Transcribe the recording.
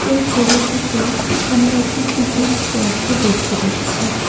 এই ছবিটিতে আমরা একটি পিকনিক স্পটকে দেখতে পাচ্ছি।